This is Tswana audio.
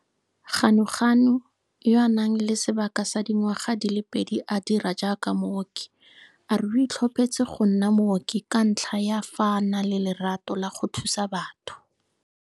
Ganuganu, yo a nang le sebaka sa dingwaga di le pedi a dira jaaka mooki, a re o itlhophetse go nna mooki ka ntlha ya fa a na le lerato la go thusa batho.